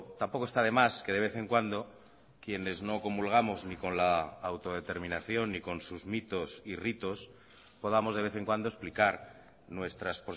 tampoco está de más que de vez en cuando quienes no comulgamos ni con la autodeterminación ni con sus mitos y ritos podamos de vez en cuando explicar nuestras